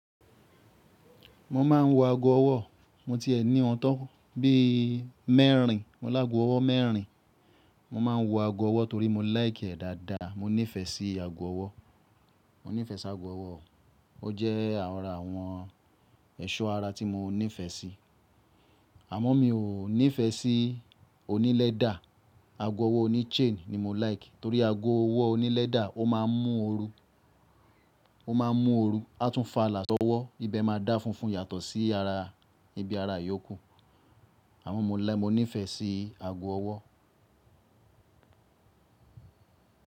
Mo máa ń wo ago ọwọ́. Mo tiẹ nìyen tọ́ bíi mẹ́rìn. Mo láago ọwọ́ mẹ́rìn. Mo máa ń wo ago ọwọ́ torí mo like e dáadáa. Mo nífẹ̀ẹ́ sí ago ọwọ́. Mo nífẹ̀ẹ́ sí ago ọwọ́. Ó jẹ́ ara àwọn ẹ̀ṣọ́ ara tí mo nífẹ̀ẹ́ si. Àmọ́ mi ò nífẹ̀ẹ́ sí oní lẹ́dà. Ago ọwọ́ oní chain ni mo lìke torí ago ọwọ́ oní lẹ́dà ó máa ń mú ooru, ó máa ń mú ooru, á tún faalà sọwọ́, ibẹ̀ ma da funfun yàtọ̀ sí ara, ibi ara iyókù. Àmọ́ mo láì, mo nífẹ̀ẹ́ sí ago ọwọ́